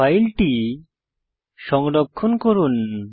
file সংরক্ষণ করুন